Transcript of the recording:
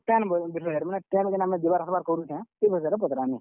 Train ବିଷୟରେ ମାନେ train , ଜେନ୍ ଯିବାର୍ ଆସ୍ ବାର୍ କରୁଛେଁ। ସେ ବିଷୟରେ ପଚ୍ ରାମି।